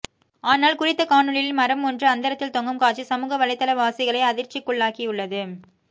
ஆனால் குறித்த காணொளியில் மரம் ஒன்று அந்தரத்தில் தொங்கும் காட்சி சமூக வலைதளவாசிகளை அதிர்ச்சிகுள்ளாக்கியுள்ளது